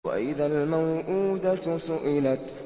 وَإِذَا الْمَوْءُودَةُ سُئِلَتْ